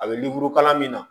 A bɛ kalan min na